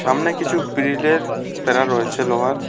সামনে কিছু বিড়িলের বেড়া রয়েছে লোহার।